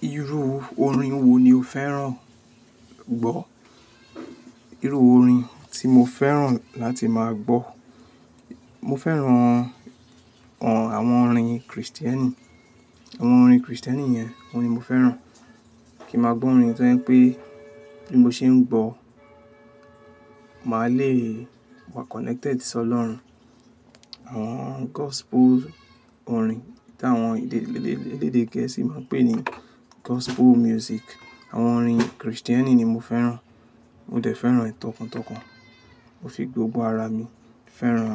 Irú orin wo ni o fẹ́ràn gbọ́? Irú orin tí mo fẹ́ràn láti máa gbọ́, mo fẹ́ràn àwọn orin Kristieni, àwọn orin Kristieni yẹn, ohun ni mo fẹ́ràn kí n màá gbọ́ orin tó jẹ́ wípé bí mo ṣe ń gbọ́, màá le wà connected sí Ọlọ́run. Àwọn gospel orin tí àwọn elédè Gẹ̀ẹ́sì máa ń pè ní gospel music. Àwọn orin Kristieni ni mo fẹ́ràn. Mo dẹ̀ fẹ́ràn ẹ tọkàntọkàn. Mo fi gbogbo ara mi fẹ́ràn